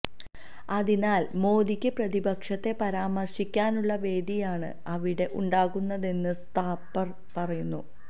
അതിനാൽ മോദിക്ക് പ്രതിപക്ഷത്തെ പരാമർശിക്കാനുള്ള വേദിയാണ് അവിടെ ഉണ്ടാകുന്നതെന്ന് താപ്പർ പറയുന്നു